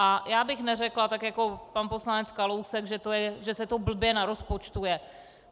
A já bych neřekla, tak jako pan poslanec Kalousek, že se to blbě narozpočtuje.